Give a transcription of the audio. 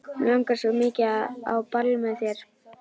Mig langar svo mikið á ball með þér.